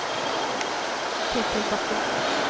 Ketil Bakken